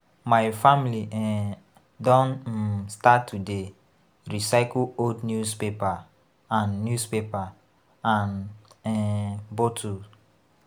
My family um don um start to dey recycle old newspaper and newspaper and um bottle.